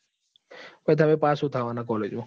Pass શું થવા નાં college માં?